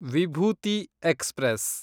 Vibhuti express